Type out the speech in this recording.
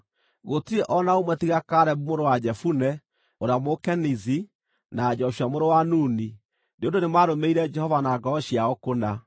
gũtirĩ o na ũmwe tiga Kalebu mũrũ wa Jefune, ũrĩa Mũkenizi, na Joshua mũrũ wa Nuni, nĩ ũndũ nĩmarũmĩrĩire Jehova na ngoro ciao kũna.’